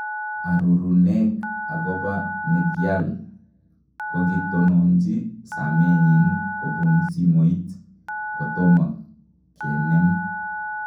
aruruneg agoba negiall , kogitononji samenyiin kopun simoit , kotoma kenem